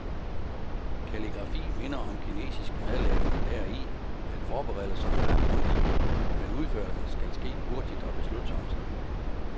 Kalligrafi minder om kinesisk madlavning deri, at forberedelserne er grundige, men udførelsen skal ske hurtigt og beslutsomt.